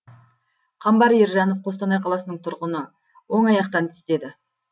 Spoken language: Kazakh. қамбар ержанов қостанай қаласының тұрғыны оң аяқтан тістеді